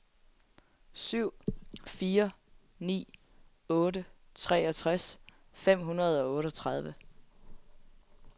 syv fire ni otte treogtres fem hundrede og otteogtredive